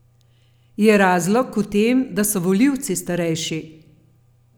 Je razlog v tem, da so volivci starejši?